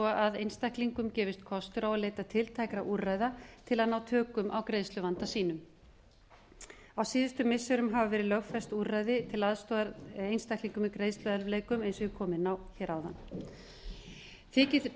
að einstaklingum gefist kostur á að leita tiltækra úrræða til að ná tökum á greiðsluvanda sínum á síðustu missirum hafa verið lögfest úrræði til aðstoðar einstaklingum greiðsluerfiðleikum eins og ég kom inn á hér áðan þykir rétt